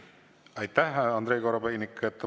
Aitäh, Andrei Korobeinik!